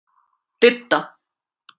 Didda